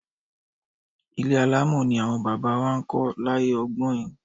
Ilé alámọ̀ ni àwọn baba wa máa ń kọ́ láyé ọgbọ́in.